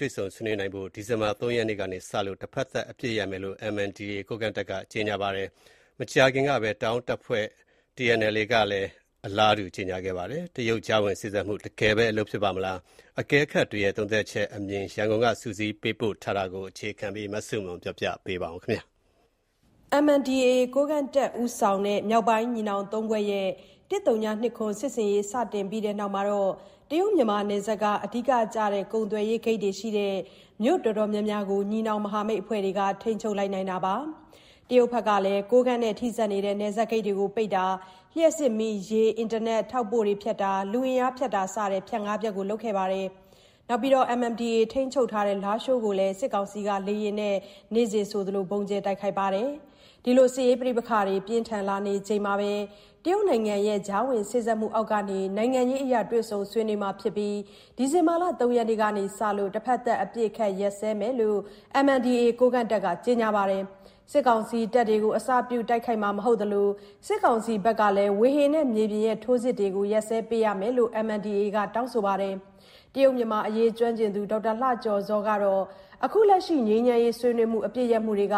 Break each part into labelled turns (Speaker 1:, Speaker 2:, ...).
Speaker 1: တွေ့ဆုံဆွေးနွေးနိုင်ဖို့ ဒီဇင်ဘာလ ၃ ရက်နေ့က စလို့ တဖက်သတ်အပစ်ရပ်မယ်လို့ MNDAA ကိုးကန့်တပ်က ကြေညာပါတယ်။ မကြာသေးခင်ကပဲ တအောင်းတပ်ဖွဲ့ TNLA ကလည်း အပစ်ရပ်ဆွေးနွေးဖို့အသင့်ရှိကြောင်း ကြေညာခဲ့ပါတယ်။ တရုတ်ကြားဝင်စေ့စပ်ပေးမှုက တကယ်ပဲအလုပ်ဖြစ်ပါ့မလား၊ တွေ့ဆုံဆွေးနွေးမှုတွေကရော အောင်မြင်နိုင်ပါ့မလား အကဲခတ်တွေရဲ့ သုံးသပ်ချက်အမြင်တွေ ရန်ကုန်က စုစည်းပေးပို့ထားတာကို အခြေခံပြီး မဆုမွန် တင်ပြထားပါတယ်။ MNDAA ကိုးကန့်တပ်ဦးဆောင်တဲ့ မြောက်ပိုင်းညီနောင်သုံးဖွဲ့ရဲ့ ၁၀၂၇ စစ်ဆင်ရေး စတင်ပြီးတဲ့နောက် မြန်မာနယ်စပ်က အဓိကကျတဲ့ ကုန်သွယ်ရေးဂိတ်တွေရှိတဲ့ မြို့တော်တော်များများကို ညီနောင်မဟာမိတ်အဖွဲ့တွေက ထိန်းချုပ်လိုက်နိုင်တာပါ။ တရုတ်ဘက် ကလည်း ကိုးကန့်နဲ့ ထိစပ်နေတဲ့ နယ်စပ်ဂိတ်တွေကို ပိတ်တာ၊ လျှပ်စစ်မီးဖြတ်တာ၊ ရေဖြတ်တာ၊ အင်တာနက်ဖြတ်တာ၊ ထောက်ပို့ဖြတ်တာ နဲ့ လူအင်အားဖြတ်တာစတဲ့ ဖြတ်ငါးဖြတ်ကို လုပ်ခဲ့ပါတယ်။ နောက်ပြီး MNDAA ထိန်းချုပ်ထားတဲ့ လားရှိုးကို စစ်ကောင်စီက လေယာဉ်နဲ့ ဗုံးကြဲတိုက်ခိုက်တာတွေ နေ့စဉ်ဆိုသလို လုပ်ခဲ့ပါတယ်။ စစ်ရေးပဋိပက္ခတွေပြင်းထန်လာနေချိန်မှာပဲ တရုတ်နိုင်ငံရဲ့ ကြားဝင်စေ့စပ်မှုအောက်မှာ နိုင်ငံရေးအရ တွေ့ဆုံဆွေးနွေးမှာဖြစ်ပြီး ဒီဇင်ဘာလ ၃ ရက်နေ့ကစလို့ တဖက်သတ်အပစ်အခတ်ရပ်စဲမယ်လို့ MNDAA ကိုးကန့်တပ်က ကြေညာပါတယ်။ စစ်ကောင်စီတပ်တွေကို အစပြု တိုက်ခိုက်မှာမဟုတ်သလို စစ်ကောင်စီဘက်ကလည်း ဝေဟင်နဲ့ မြေပြင်ထိုးစစ်တွေကို ရပ်စဲပေးရမယ်လို့လည်း MNDAA က တောင်းဆိုပါတယ်။ တရုတ်မြန်မာအရေးကျွမ်းကျင်သူ ဒေါက်တာလှကျော်ဇောကတော့ ခုလက်ရှိငြိမ်းချမ်းရေးဆွေးနွေးမှု အပစ်ရပ်မှုတွေက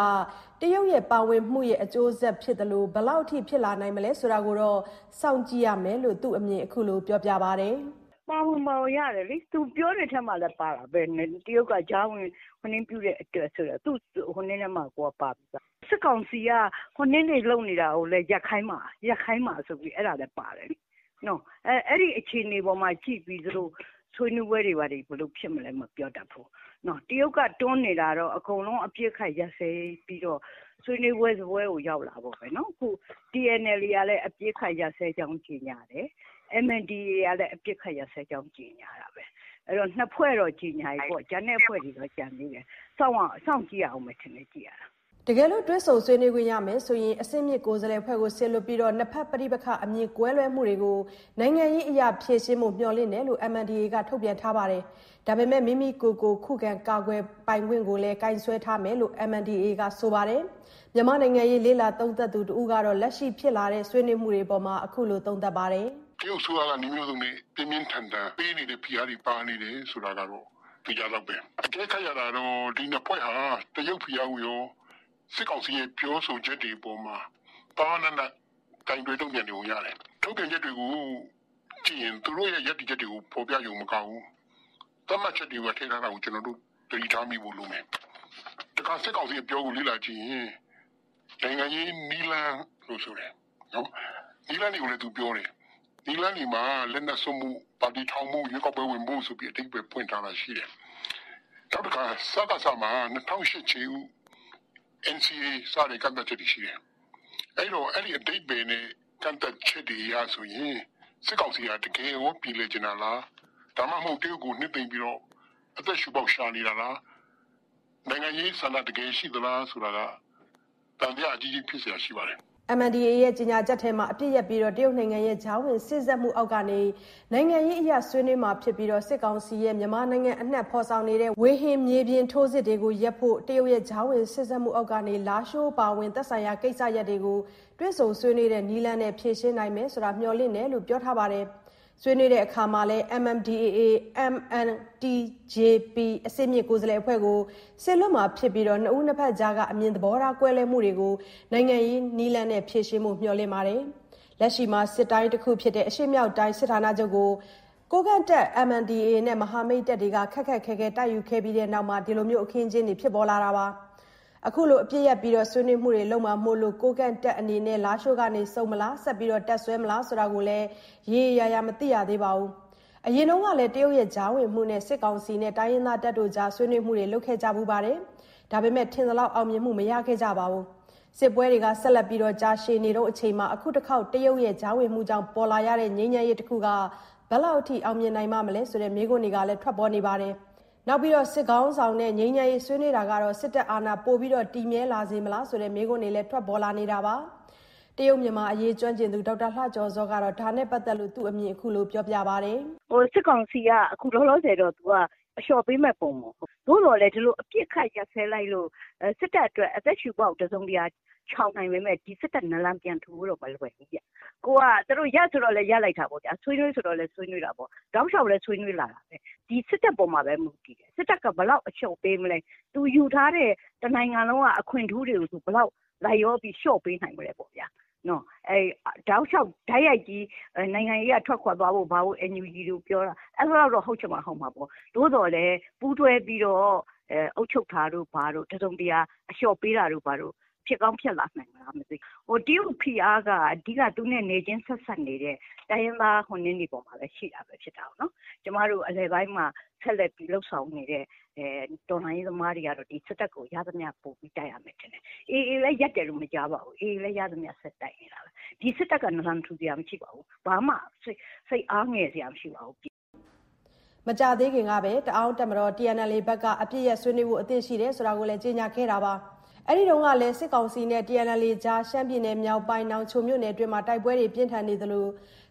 Speaker 1: တရုတ်ပါဝင်မှုရဲ့ အကျိုးဆက်တခုဖြစ်တာ မို့ ဘယ်လောက်ထိ ဖြစ်လာနိုင်မလဲဆိုတာကိုစောင့်ကြည့်ရမယ်လို့ သူ့အမြင်ကိုခုလိုပြောပြပါတယ်။ “တရုတ် ပါဝင်လာပုံရတယ်။ ပါဝင်တယ်ဆိ
Speaker 2: ုတာကလည်း သူပြောတဲ့အထဲမှာပါပါတယ်။ တရုတ်က ကြားဝင်တဲ့အတွက်ဆိုတာလည်း ပါတယ်။ စစ်ကောင်စီကလေကြောင်းက ဖိအားပေးတာကိုလည်း ရပ်ခိုင်းဖို့ဆိုတာပါတယ်။အဲအခြေအနေပေါ်မူတည်ပြီး ဆွေးနွေးပွဲတွေ ဘယ်လိုဖြစ်မလဲ မပြောတတ်ဘူး။ တရုတ်တွန်းနေတာတော့ အကုန်လုံးအပစ်အခတ်ရပ်စဲဖို့ ဆွေးနွေးပွဲစားပွဲကို ရောက်လာဖို့ပဲ။ TNLA ဘက်ကလည်း အပစ်ရပ်ဖို့ကြေညာတယ်။ MNDAA က အပစ်ရပ်ဖို့ ပြောတယ်။ ၂ ဖွဲ့တော့ကြေညာပြီ။ ကျန်တဲ့
Speaker 1: အဖွဲ့တွေကကျန်သေးတယ်။ စောင့်တော့စောင့်ကြည့်ရမယ်။” တကယ်လို့ တွေ့ဆုံဆွေးနွေးမယ်ဆိုရင် အဆင်မြင့်ကိုယ်စားလှယ်အဖွဲ့ကို စေလွှတ်ပြီး နှစ်ဖက် ပဋိပက္ခအမြင် ကွဲလွဲမှုတွေကို နိုင်ငံရေးနည်းအရ ဖြေရှင်းဖို့ မျှော်လင့်ထားတယ်လို့လည်း MNDAA က ထုတ်ပြန်ထားတာပါ။ ဒါပေမယ့် မိမိကိုယ်ကို ခုခံကာကွယ်ခွင့်ကိုတော့ ကိုင်စွဲထားမယ်လို့ MNDAA က ဆိုပါတယ်။ မြန်မာ့နိုင်ငံရေးလေ့လာသုံးသပ်သူ တဦးကလည်း လက်ရှိဖြစ်လာတဲ့ ဆွေးနွေးမှုတွေအပေါ် ခုလိုသုံးသပ်လိုက်ပါတယ်။
Speaker 3: “တရုတ်အစိုးရကတော့ ပြင်းပြင်းထန်ထန် နည်းမျိုးစုံဖိအားတွေပေးနေတာကတော့ သေချာ သလောက်ပါပဲ။ အကဲခတ်ရတာတော့ ဒီ ၂ ဖွဲ့ဟာ တရုတ်ဖိအားကိုကော စစ်ကောင်စီရဲ့ပြောဆိုချက် အပေါ် ပါးပါးနပ်နပ်ကိုင်တွယ်နေပုံရပါတယ်။ ထုတ်ပြန်ချက်တွေကိုကြည့်ရင် သဘောထားကို မြင်ရသလို သတ်မှတ်ချက်တွေကိုပါ ထည့်ထားတာတွေ့ရတယ်။ စစ်ကောင်စီဘက်ကိုကြည့်မယ်ဆိုရင် နိုင်ငံရေးနည်းလမ်း လို့ဆိုတယ်။ နည်းလမ်းတွေကိုလည်းပြောတယ်။”
Speaker 1: MNDAA ကြေညာချက်ထဲမှာ အပစ်ရပ်ပြီး တရုတ်နိုင်ငံရဲ့ ကြားဝင်စေ့စပ်မှုအောက်မှာ နိုင်ငံရေးအရ တွေ့ဆုံဆွေးနွေးမှာဖြစ်ပြီး စစ်ကောင်စီကလည်း မြန်မာနိုင်ငံအနှံ့မှာဖော်ဆောင်နေတဲ့ ဝေဟင် မြေပြင် ထိုးစစ်တွေကိုရပ်ဖို့ တရုတ်ရဲ့ ကြားဝင် စေ့စပ်မှုအောက်မှာ လားရှိုးအပါအဝင် သက်ဆိုင်ရာ ကိစ္စရပ်တွေကို တွေ့ဆုံဆွေးနွေးတဲ့ နည်းလမ်းနဲ့ ဖြေရှင်းနိုင်မယ်လို့ မျှော်လင့်တယ်ဆိုတာလည်း ပြောထားပါတယ်။ ဆွေးနွေးရာမှာလည်း MNDAA/MNTJP အဆင့်မြင့်ကိုယ်စားလှယ်အဖွဲ့ကို စေလွှတ်မှာ ဖြစ်ပြီး နှစ်ဦးနှစ်ဖက် ကြားက အမြင်သဘောထားကွဲလွဲမှုကို နိုင်ငံရေးနည်းလမ်းနဲ့ ဖြေရှင်းနိုင်ဖို့ မျှော်လင့်တယ်လို့ဆိုပါတယ်။ လက်ရှိမှာ စစ်တိုင်းတစ်ခုဖြစ်တဲ့ အရှေ့မြောက်တိုင်းစစ်ဌာနချုပ်ကို ကိုးကန့်တပ် MNDAA နဲ့ မဟာမိတ်တွေ ခက်ခက်ခဲခဲတိုက်ယူခဲ့ပြီး တဲ့နောက်မှာ ဒီအခင်းအကျင်းတွေ ဖြစ်ပေါ်လာတာပါ။ ခုလိုအပစ်ရပ်ပြီး ဆွေးနွေးမှုတွေလုပ်မှာမို့ ကိုးကန့်တပ်အနေနဲ့ လားရှိုးကဆုတ်မလား၊ ဆက်တပ်စွဲမလားဆိုတာ တော့မသိရသေးပါဘူး။ အရင်ကလည်း တရုတ်ကြားဝင်မှုနဲ့ စစ်ကောင်စီနဲ့ တိုင်းရင်းသားတပ်တွေ ဆွေးနွေးခဲ့ကြဖူးပါတယ်။ ထင်သလောက် အောင်မြင်မှုမရလာခဲ့ပါဘူး။ စစ်ပွဲတွေ ဆက်လက်ရှည်ကြာနေတုန်းမို့ ဒီတခေါက် တရုတ်ကြားဝင်မှုကြောင့်ပေါ်လာရတဲ့ ငြိမ်းချမ်းရေးတခုက ဘယ်လောက်ထိ အောင်မြင်နိုင်ပါ့မလဲ ဆိုတဲ့မေးခွန်းတွေကထွက်ပေါ်နေပါတယ်။ နောက်ပြီးစစ်ခေါင်းဆောင်နဲ့သာ ငြိမ်းချမ်းရေးအတွက် ဆွေးနွေးတာက စစ်တပ်အာဏာ ပိုတည်မြဲလာစေလေမလားဆိုတဲ့ မေးခွန်းတွေလည်း ထွက်ပေါ်နေ တာပါ။ တရုတ်မြန်မာအရေးကျွမ်းကျင်သူ ဒေါက်တာလှကျော်ဇောကတော့ ဒါနဲ့ပတ်သတ်လို့-သူ့အမြင်အခုလိုပြောပါတယ်။ “စစ်ကောင်စီကအခုလောလောဆယ်တော့
Speaker 2: အလျှော့ပေးမယ့်ပုံတော့မဟုတ်ဘူး။ သို့သော်လည်း ဒီလိုအပစ်အခတ်ရပ်စဲလိုက်လို့ စစ်တပ်အတွက် အသက်ရှုပေါက်ချောင်တယ်ဆိုပေမယ့် စစ်တပ် နလန်ပြန်ထူဖို့တော့မလွယ်ဘူး။ သူတို့ရပ်ဆိုတော့လည်းရပ်တာပေါ့ ဆွေးနွေးဆို တော့လည်း ဆွေးနွေးတာပေါ့။ တောက်လျှောက်လည်းဆွေးနွေးလာတာပဲ။ စစ်တပ်ပေါ်မှာပဲ မူတည်တယ်။ ဘယ်လောက်အလျှော့ပေးမလဲ။ တနိုင်ငံလုံးမှာ သူတို့ ယူထားတဲ့ တနိုင်ငံလုံးကအခွင့်ထူးခံ ယူထားတာတွေကို ဘယ်လောက်လိုက်လျောပြီး လျှော့ပေးနိုင်မလဲ။ အန်ယူဂျီ ပြောဆိုသလောက် တောက်လျှောက်နိုင်ငံရေးကထွက်ခွာသွားဖို့ ဘာဖို့ဆိုတာ အဲလောက်တော့ဟုတ်ချင်မှဟုတ်မှာပေါ့။ ဒါပေမယ့် ပူးတွဲပြီးတော့ အုပ်ချုပ်တာတို့ဘာတို့ဖြစ်လာနိုင်တယ်။ တရုတ်ဖိအားက သူနဲ့နယ်ချင်းဆက်စပ်နေတဲ့ တိုင်းရင်းသားတွေအပေါ်မှာပဲရှိတတ်တာကိုနော်။ ကျမတို့အလယ်ပိုင်းမှာ ရှိတဲ့တော်လှန်ရေးသမားတွေကတော့ စစ်တပ်ကို ရသလောက်နဲ့တိုက်နေရဦးမယ်ထင်တယ်။ AA လည်း ရပ်တယ်မကြားပါဘူး။ ရသမျှဆက်တိုက်နေတာပဲ။ ဒီစစ်တပ်က နလန်ထူနိုင်စရာမရှိတာမို့ ဘာမှစိ
Speaker 1: တ်အားငယ်စရာမရှိပါဘူး။” မကြာသေးခင်ကပဲ တအောင်းအဖွဲ့ TNLA ဘက်ကလည်း အပစ်ရပ်ဆွေးနွေးဖို့အသင့်ရှိတဲ့အကြောင်း ကြေညာခဲ့ပါတယ်။ အဲဒီတုန်းကလည်း စစ်ကောင်စီနဲ့ TNLA ကြား ရှမ်းပြည်နယ်မြောက်ပိုင်း နောင်ချိုမြို့နယ်အတွင်း တိုက်ပွဲတွေပြင်းထန်နေသလို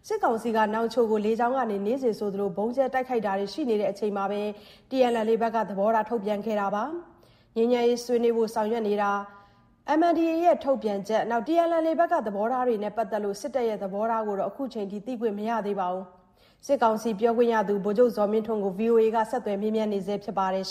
Speaker 1: စစ်ကောင်စီက နောင်ချိုမြို့ကို လေကြောင်းက နေ့စဉ်ဆိုသလို ဗုံးကြဲတိုက်ခိုက်တာတွေ ရှိနေချိန်မှပဲ ထုတ်ပြန်ခဲ့တာဖြစ်ပါတယ်။ ငြိမ်းချမ်းရေးဆွေးနွေးဖို့ဆောင်ရွက်နေတာ၊ MNDAA ရဲ့ ထုတ်ပြန်ချက်နဲ့ TNLA ဘက်ကသဘောထား စတာတွေနဲ့ ပတ်သက်လို့ စစ်တပ်သဘောထားကိုတော့ခုချိန်ထိသိခွင့်မရသေးပါဘူး။ စစ်ကောင်စီပြောခွင့်ရသူ ဗိုလ်ချုပ်ဇော်မင်းထွန်းကို ဗီအိုအေက ဆက်သွယ်မေးမြန်းနေဆဲဖြစ်ပါတယ်။